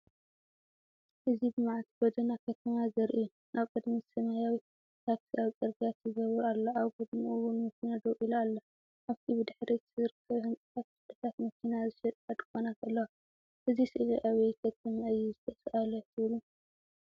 እዚ ብመዓልቲ ጎደና ከተማ ዘርኢ እዩ። ኣብ ቅድሚት ሰማያዊት ታክሲ ኣብቲ ጽርግያ ትዝውር ኣላ። ኣብ ጎድኑ እውን መኪና ደው ኢላ ኣላ። ኣብቲ ብድሕሪት ዝርከብ ህንጻ፡ ክፍልታት መኪና ዝሸጣ ድኳናት ኣለዋ። እዚ ስእሊ ኣብይ ከተማ እዩ ዝተሳእለ ትብሉ?